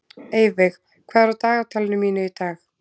Eyveig, hvað er á dagatalinu mínu í dag?